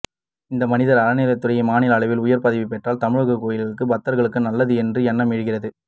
இந்த மனிதர் அறநிலைத்துறையில் மாநில அளவில் உயர் பதவிபெற்றால் தமிழக கோவில்களுக்கும் பக்தர்களுக்கும் நல்லது என்ற எண்ணம் எழுகிறது